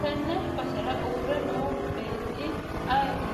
tenne basera uurre noo beetti ayeeti?